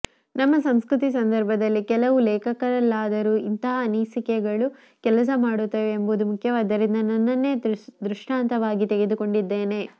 ನಮ್ಮ ಸಂಸ್ಕೃತಿ ಸಂದರ್ಭದಲ್ಲಿ ಕೆಲವು ಲೇಖಕರಲ್ಲಾದರೂ ಇಂತಹ ಅನ್ನಿಸಿಕೆಗಳು ಕೆಲಸ ಮಾಡುತ್ತವೆ ಎಂಬುದು ಮುಖ್ಯವಾದ್ದರಿಂದ ನನ್ನನ್ನೆ ದೃಷ್ಟಾಂತವಾಗಿ ತೆಗೆದುಕೊಂಡಿದ್ದೇನೆ